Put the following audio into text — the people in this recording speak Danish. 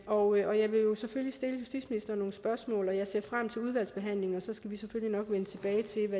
og jeg vil selvfølgelig stille justitsministeren nogle spørgsmål og jeg ser frem til udvalgsbehandlingen og så skal vi selvfølgelig nok vende tilbage til